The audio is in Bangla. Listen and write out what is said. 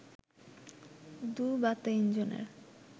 দুই বা তিনজনের